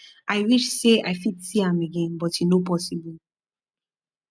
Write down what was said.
i wish say i fit see am again but e no posssible